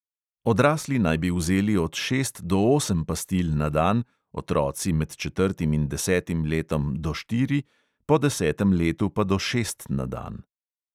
Odrasli naj bi vzeli od šest do osem pastil na dan, otroci med četrtim in desetim letom do štiri, po desetem letu pa do šest na dan.